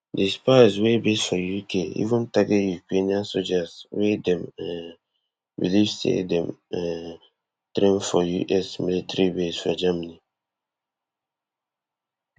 di spies wey base for uk even target ukrainian sojas wey dem um believe say dey um train for us military base for germany